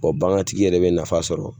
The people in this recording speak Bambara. Bɔn bangatigi yɛrɛ bɛ nafa sɔrɔ